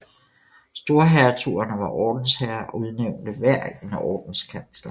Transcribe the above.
Storhertugerne var ordensherrer og udnævnte hver en ordenskansler